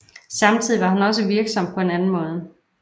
Samtidig var han også virksom på anden måde